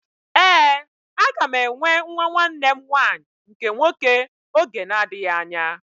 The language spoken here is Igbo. Éè, aga m enwe nwa nwanne m nwanyị nke nwoke oge na-adịghị anya